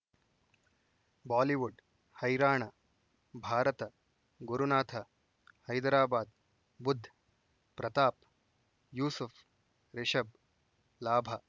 Bollywood ಹೈರಾಣ ಭಾರತ ಗುರುನಾಥ ಹೈದರಾಬಾದ್ ಬುಧ್ ಪ್ರತಾಪ್ ಯೂಸುಫ್ ರಿಷಬ್ ಲಾಭ